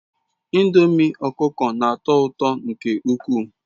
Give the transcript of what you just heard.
Ndomi okuko n'ato uto nke ukwu